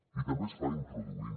i també es fa introduint